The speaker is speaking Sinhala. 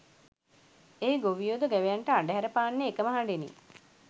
එහි ගොවියෝ ද ගවයන්ට අඬහැර පාන්නේ එකම හඬිනි